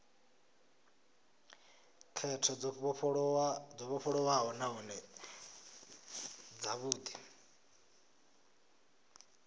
khetho dzo vhofholowaho nahone dzavhudi